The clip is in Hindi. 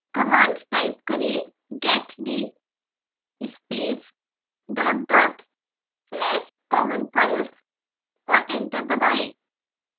कमांड टाइप करें: getd space dot dot slash common files और एंटर दबाएँ